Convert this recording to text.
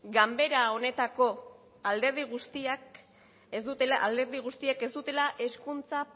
ganbara honetako alderdi guztiek ez dutela hezkuntza